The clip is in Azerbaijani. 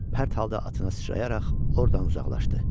Pərt halda atına sıçrayaraq ordan uzaqlaşdı.